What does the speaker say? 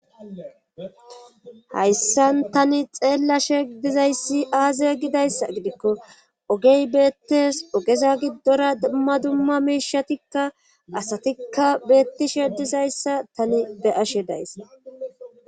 hayssan tani xeella shedizayssi aaze gidayssa gidikko ogey beettes ogeza giddora dummadumma miishatikka asatikka beettishedizayssa tani be ashe days